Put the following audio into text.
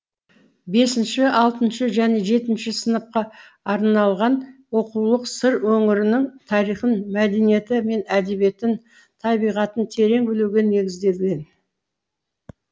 бесінші алтыншы және жетінші сыныпқа арналған оқулық сыр өңірінің тарихын мәдениеті мен әдебиетін табиғатын терең білуге негізделген